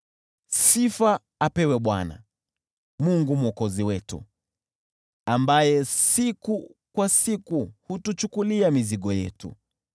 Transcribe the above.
Sifa apewe Bwana, Mungu Mwokozi wetu, ambaye siku kwa siku hutuchukulia mizigo yetu.